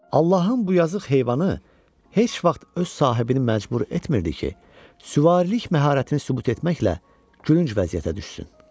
Allahın bu yazıq heyvanı heç vaxt öz sahibini məcbur etmirdi ki, süvarilik məharətini sübut etməklə gülünc vəziyyətə düşsün.